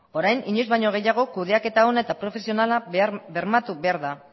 orain inoiz baino gehiago kudeaketa ona eta profesionala bermatu behar da